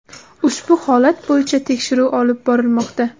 Ushbu holat bo‘yicha tekshiruv olib borilmoqda.